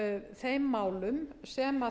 þeim málum sem